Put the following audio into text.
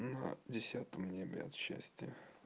на десятом небе от счастья